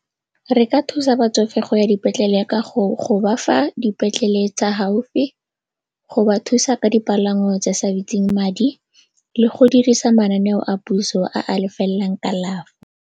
Re ka thusa batsofe go ya dipetlele ka go bafa dipetlele tsa gaufi, go ba thusa ka dipalangwa tse sa bitseng madi le go dirisa mananeo a puso a lefelelang .